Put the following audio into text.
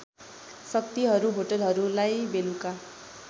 शक्तिहरू होटलहरूलाई बेलुका